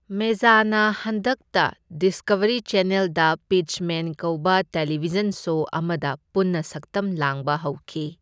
ꯃꯦꯖꯅ ꯍꯟꯗꯛꯇ ꯗꯤꯁꯀꯚꯔꯤ ꯆꯦꯅꯦꯜꯗ ꯄꯤꯠꯆꯃꯦꯟ ꯀꯧꯕ ꯇꯦꯂꯤꯚꯤꯖꯟ ꯁꯣ ꯑꯃꯗ ꯄꯨꯟꯅ ꯁꯛꯇꯝ ꯂꯥꯡꯕ ꯍꯧꯈꯤ꯫